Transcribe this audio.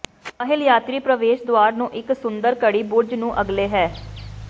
ਮਹਿਲ ਯਾਤਰੀ ਪ੍ਰਵੇਸ਼ ਦੁਆਰ ਨੂੰ ਇੱਕ ਸੁੰਦਰ ਘੜੀ ਬੁਰਜ ਨੂੰ ਅਗਲੇ ਹੈ